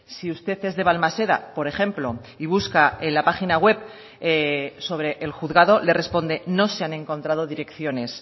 si usted es de balmaseda por ejemplo y busca en la página web sobre el juzgado le responde no se han encontrado direcciones